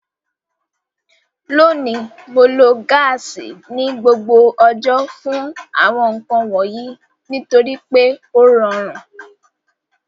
Lónìí, Mo lo gáàsì ní gbogbo ọjọ́ fún àwọn nǹkan wọ̀nyí nítorí pé ó rọrùn